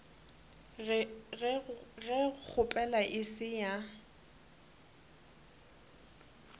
ge kgopelo e se ya